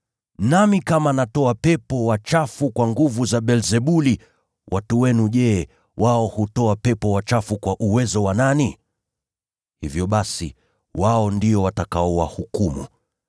Nami kama natoa pepo wachafu kwa nguvu za Beelzebuli, watu wenu je, wao hutoa pepo wachafu kwa uwezo wa nani? Hivyo basi, wao ndio watakaowahukumu.